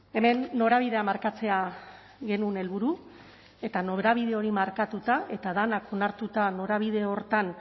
hemen norabidea markatzea genuen helburu eta norabide hori markatuta eta denak onartuta norabide horretan